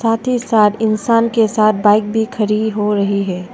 साथ ही साथ इंसान के साथ बाइक भी खड़ी हो रही है।